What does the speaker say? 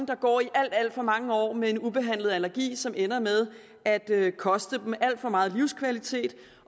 der går i alt alt for mange år med en ubehandlet allergi som ender med at at koste dem alt for meget livskvalitet